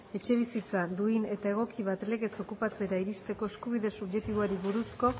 etxebizitza duin eta egoki bat legez okupatzera iristeko eskubide subjektiboari buruzko